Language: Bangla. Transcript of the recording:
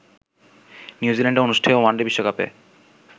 নিউ জিল্যান্ডে অনুষ্ঠেয় ওয়ানডে বিশ্বকাপে